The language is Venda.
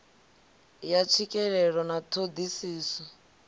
ya tswikelelo na ṱho ḓisiso